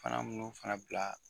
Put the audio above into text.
Palan nunnu fana bila.